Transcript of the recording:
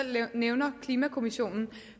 nævner klimakommissionen